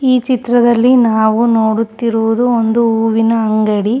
ಈ ಚಿತ್ರದಲ್ಲಿ ನಾವು ನೋಡುತ್ತಿರುವುದು ಒಂದು ಹೂವಿನ ಅಂಗಡಿ.